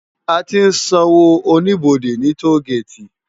Á ti n sànwó ónibódé ni tógéti